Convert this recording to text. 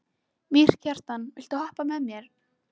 Mýrkjartan, viltu hoppa með mér?